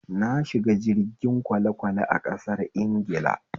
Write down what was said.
Na shiga jirgin kwalekwale a ƙasar Ingila